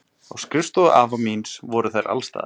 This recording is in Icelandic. Á skrifstofu afa míns voru þær alstaðar.